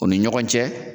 U ni ɲɔgɔn cɛ